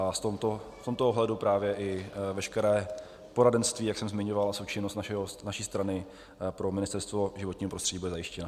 A v tomto ohledu právě i veškeré poradenství, jak jsem zmiňoval, a součinnost naší strany pro Ministerstvo životního prostředí bude zajištěna.